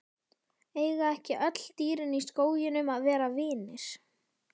Eiga ekki öll dýrin í skóginum að vera vinir?